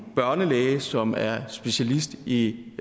børnelæge som er specialist i